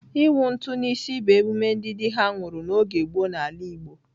Ịwụ ntụ n'isi bụ emume ndị dị ha nwụrụ n'oge gboo n'ala Igbo.